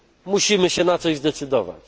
Musimy się na coś zdecydować.